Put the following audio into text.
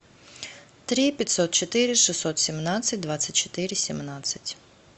три пятьсот четыре шестьсот семнадцать двадцать четыре семнадцать